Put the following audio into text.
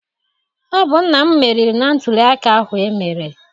Ọ bụ nna m meriri na ntụliaka ahụ emere.